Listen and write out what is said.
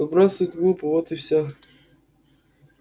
выбрасывать глупо вот и все